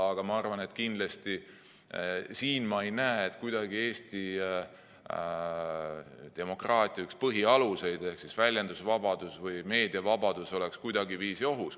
Aga kindlasti ma ei näe siin, et Eesti demokraatia üks põhialuseid ehk väljendusvabadus või meediavabadus oleks kuidagiviisi ohus.